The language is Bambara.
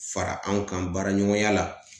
Fara anw kan baaraɲɔgɔnya la